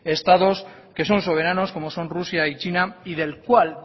estados que son soberanos como son rusia y china y del cual